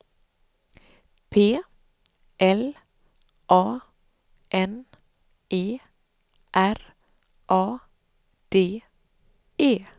P L A N E R A D E